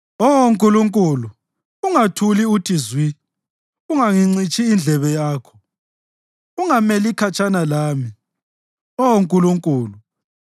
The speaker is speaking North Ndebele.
Oh Nkulunkulu, ungathuli uthi zwi; ungangincitshi indlebe yakho, ungameli khatshana lami, Oh Nkulunkulu.